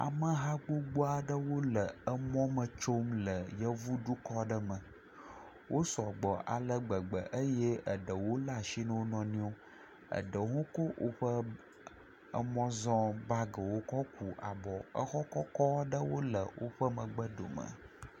Ameha gbogbo aɖewo le emɔ me tsom le yevudukɔ aɖe me. Wo sɔgbɔ ale gbegbe eye eɖewo le asi na wo nɔnɔewo. Eɖewo hã kɔ woƒe emɔzɔbagiwo kɔ ku abɔ. Exɔ kɔkɔ aɖewo le woƒe megbe dome.